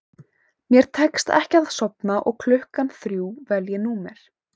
Mér tekst ekki að sofna og klukkan þrjú vel ég númer